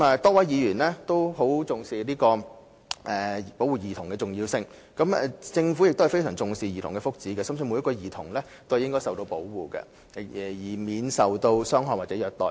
多位議員均很重視保護兒童的重要性，而政府亦非常重視兒童的福祉，深信每名兒童均應受到保護，免受傷害或虐待。